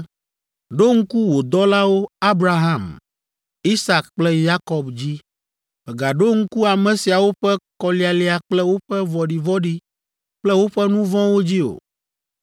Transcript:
Ɖo ŋku wò dɔlawo, Abraham, Isak kple Yakob dzi. Mègaɖo ŋku ame siawo ƒe kɔlialia kple woƒe vɔ̃ɖivɔ̃ɖi kple woƒe nu vɔ̃wo dzi o.